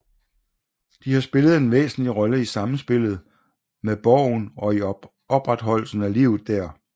De har spillet en væsentlig rolle i samspillet med borgen og i opretholdelsen af livet der